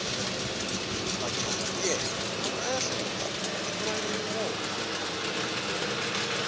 majaha ntiyela aya hlayisa tiko ra wona